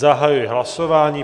Zahajuji hlasování.